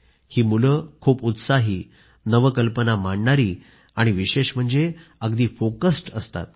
ही मुलं खूप उत्साही नवकल्पना मांडणारी आणि विशेष म्हणजे अगदी फोकस्ड असतात